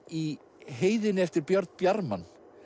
í heiðinni eftir Björn bjarman